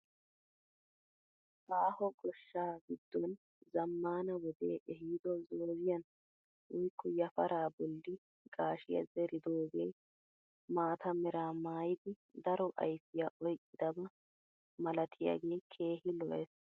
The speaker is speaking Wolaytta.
Aaho goshshaa giddon zammaana wodee ehido zoozziyaan woykko yafaraa bolli gaashshiyaa zeridoogee maata meraa maayidi daro ayfiyaa oyqqidaba malatiyaagee keehi lo"ees!